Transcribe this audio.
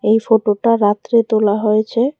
এই ফটোটা রাত্রে তোলা হয়েছে।